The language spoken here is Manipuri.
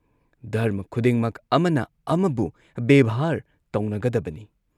ꯙꯔꯃ ꯈꯨꯗꯤꯡꯃꯛ ꯑꯃꯅ ꯑꯃꯕꯨ ꯕꯦꯚꯥꯔ ꯇꯧꯅꯒꯗꯕꯅꯤ ꯫